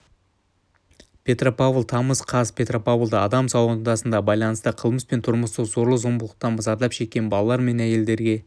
петропавл тамыз қаз петропавлда адам саудасына байланысты қылмыс пен тұрмыстық зорлық-зомбылықтан зардап шеккен балалар мен әйелдерге